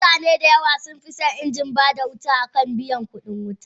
Mutane dayawa sunfison inji bada wuta akan biyan kudin wuta.